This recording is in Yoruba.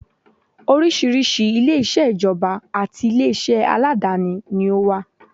Oríṣiríṣi ilé-iṣẹ́ ìjọba àti ilé iṣẹ́ aládááni ni ó wà